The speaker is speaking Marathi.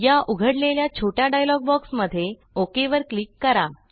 या उघडलेल्या छोट्या डायलॉग बॉक्समध्ये ओक वर क्लिक करा